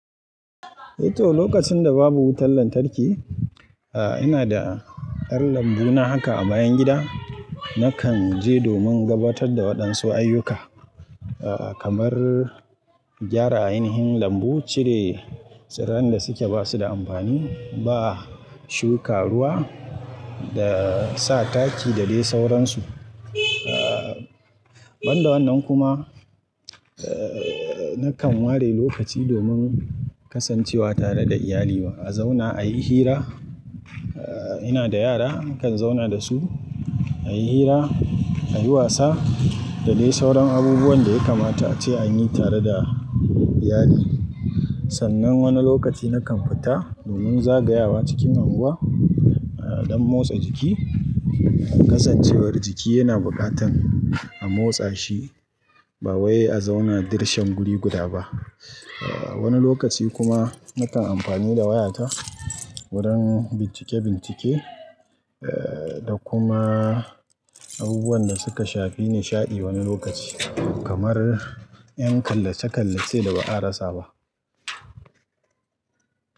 Eh to, lokacin da babu wutan lantarki, eh ina da ƴar lambu na haka a bayan gida. Nakan je domin gabatar da waɗansu ayyuka, eh kamar gyara ainihin lambu, cire tsiran da suke basu da amfani, ba shuka ruwa da sa taki da dai sauransu. Ban da wannan kuma, eh nakan ware lokaci domin kasancewa tare da iyali ma. A zauna a yi hira. Eh ina da yara, nakan zauna da su a yi hira, a yi wasa da dai sauran abubuwan da ya kamata ace a yi tare da iyali. Sannan wani lokaci nakan fita domin zagayawa cikin anguwa eh dan motsa jiki. Kasancewar jiki yana bukatan a motsa shi ba wai a zauna dirshan guri guda ba. Ah wani lokaci kuma nakan amfani da wayata wurin bincike-bincike eh da kuma abubuwan da suka shafi nishaɗi wani lokaci kamar ƴan kallace-kallace da ba'a rasa ba.